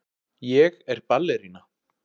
Ég er ballerína.